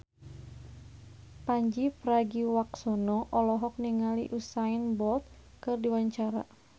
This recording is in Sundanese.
Pandji Pragiwaksono olohok ningali Usain Bolt keur diwawancara